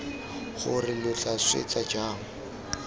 gore lo tla swetsa jang